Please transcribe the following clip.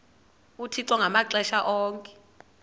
uthixo ngamaxesha onke